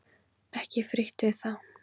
Ekki frítt við það!